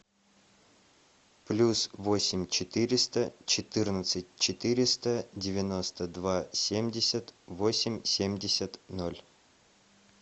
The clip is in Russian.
плюс восемь четыреста четырнадцать четыреста девяносто два семьдесят восемь семьдесят ноль